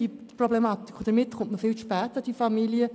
Somit kommt man viel zu spät zu diesen Familien.